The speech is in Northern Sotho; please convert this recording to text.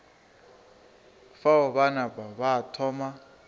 fao ba napa ba thoma